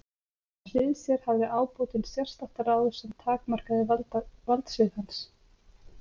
Við hlið sér hafði ábótinn sérstakt ráð sem takmarkaði valdsvið hans.